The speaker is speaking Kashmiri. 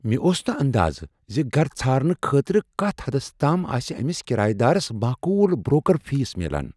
مےٚ اوس نہٕ اندازٕ ز گر ژھارنہٕ خٲطرٕ کتھ حدس تام آسہ امس کرایہ دارس معقول بروکر فیس میلان !